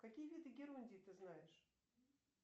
какие виды герундии ты знаешь